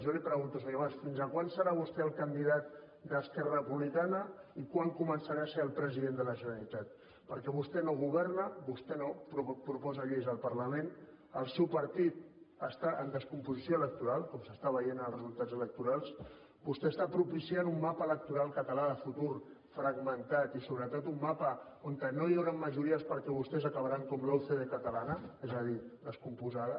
jo li pregunto senyor mas fins quan serà vostè el candidat d’esquerra republicana i quan començarà a ser el president de la generalitat perquè vostè no governa vostè no proposa lleis al parlament el seu partit està en descomposició electoral com s’està veient als resultats electorals vostè està propiciant un mapa electoral català de futur fragmentat i sobretot un mapa on no hi hauran majories perquè vostès acabaran com la ucd catalana és a dir descomposta